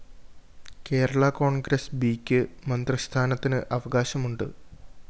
കേരളാ കോണ്‍ഗ്രസ് ബിയ്ക്ക് മന്ത്രിസ്ഥാനത്തിന് അവകാശമുണ്ട്